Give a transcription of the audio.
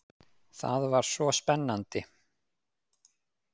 Það var svo spennandi.